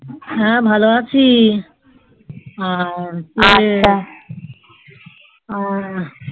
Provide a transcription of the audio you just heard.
হ্যাঁ ভালো আছি আর